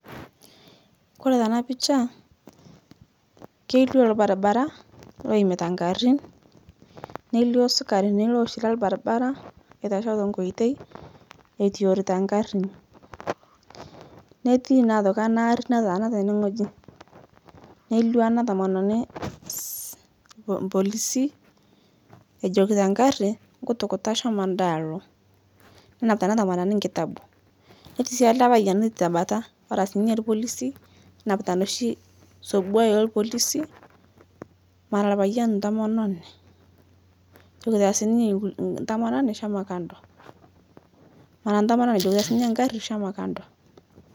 Kore tana picha keilio lbarbaraa loimita nkarin neilio sikarinii loshi lelbarbara eitashoo tenkoitei etiorita nkarin, neti naa otoki ana arii nataana tene ng'oji neilio ana tomononi mpolisi ejokita nkari nkutukuta shomoo anda aloo nenapita ana tomononii nkiti kitabu netii sii ale payan eti tabataa era sii ninye lpolisii nenapita noshi sobua elpolisi mara lpayan ntomononi ejokita sii ninye ntomononi shomo kando mara ntomononi ejokita sii ninye nkari shomo kando.